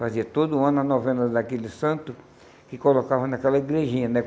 Fazia todo ano a novena daquele santo, que colocava naquela igrejinha, né?